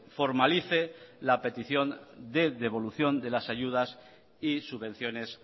formalice la petición de devolución de las ayudas y subvenciones